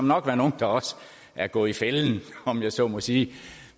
nok være nogle der også er gået i fælden om jeg så må sige